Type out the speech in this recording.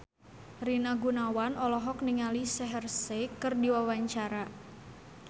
Rina Gunawan olohok ningali Shaheer Sheikh keur diwawancara